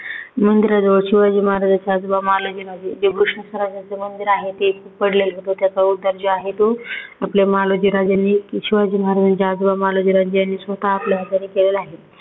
मंदिराजवळ शिवाजी महाराजांचे आजोबा मालोजीराजे घृष्णेश्वराचं शंकराचं जे मंदिर आहे ते पडलेलं त्याचा उद्धार जे आहे तो आपले मालोजीराजेनी शिवाजी महाराजांचे आजोबा मालोजीराजे यांनी स्वतः आपल्या हातांनी केलेला आहे.